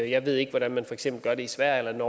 jeg ved ikke hvordan man for eksempel gør det i sverige